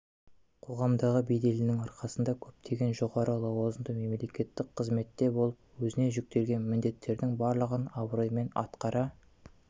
қоғамдағы беделінің арқасында көптеген жоғары лауазымды мемлекеттік қызметте болып өзіне жүктелген міндеттердің барлығын абыроймен атқара